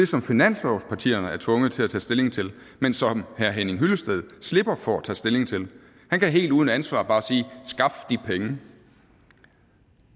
som finanslovspartierne er tvunget til at tage stilling til men som herre henning hyllested slipper for at tage stilling til han kan helt uden ansvar bare sige skaf de penge